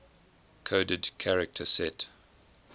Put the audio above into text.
coded character set